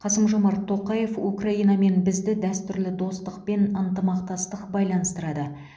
қасым жомарт тоқаев украинамен бізді дәстүрлі достық пен ынтымақтастық байланыстырады